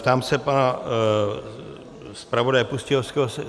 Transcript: Ptám se pana zpravodaje Pustějovského?